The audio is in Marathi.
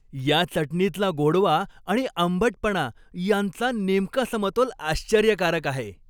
या चटणीतला गोडवा आणि आंबटपणा यांचा नेमका समतोल आश्चर्यकारक आहे.